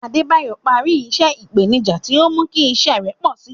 Adebayo parí iṣẹ́ ìpèníjà tí ó mú kí iṣẹ́ rẹ̀ pọ̀ sí i.